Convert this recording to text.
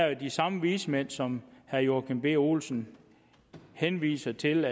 er de samme vismænd som herre joachim b olsen henviser til